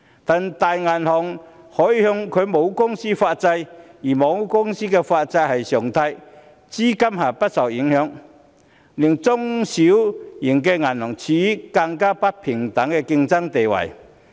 但是，大銀行則可以向其母公司發債，而母公司發債是常態，資金不會受影響，這令中小型銀行處於更不平等的競爭地位。